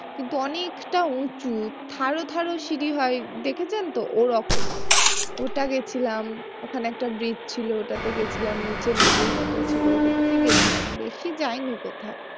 কিন্তু অনেকটা উঁচু সিঁড়ি হয় দেখেছেন তো ওরকম ওটা গেছিলাম ওখানে একটা bridge ছিল ওটাতে গেছি নদীর মতো ছিল ওটাতে গেছি বেশি যাইনি কোথাও।